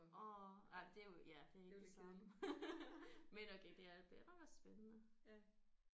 Åh nej det er jo ja det er ikke det samme men okay det er det var da spændende